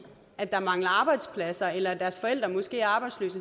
at der mangler arbejdspladser eller at deres forældre måske er arbejdsløse